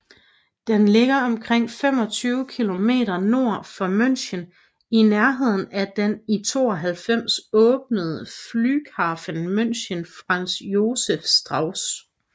Den ligger omkring 25 km nord for München i nærheden af den i 1992 åbnede Flughafen München Franz Josef Strauß